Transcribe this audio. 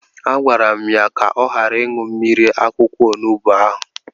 A gwara m ya ka ọ ghara ịṅụ mmiri akwụkwọ onubu ahụ!